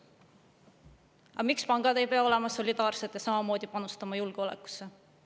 Aga miks pangad ei pea olema solidaarsed ja samamoodi panustama julgeolekusse?